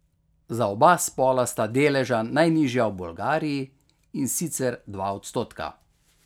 Za oba spola sta deleža najnižja v Bolgariji, in sicer dva odstotka.